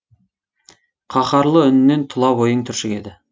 қаһарлы үнінен тұла бойың түршігеді